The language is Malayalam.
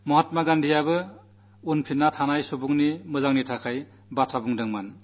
മഹാത്മാഗാന്ധിയും അവസാനത്തെ അറ്റത്തു നില്ക്കുന്ന വ്യക്തിയുടെ ക്ഷേമത്തിന്റെ കാര്യമാണു പറയാറുണ്ടായിരുന്നത്